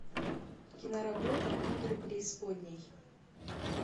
киноработа игры преисподней